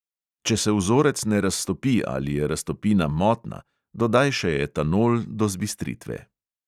Če se vzorec ne raztopi ali je raztopina motna, dodaj še etanol do zbistritve.